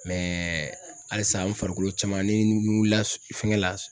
halisa n farikolo caman ni n wulila fɛŋɛ la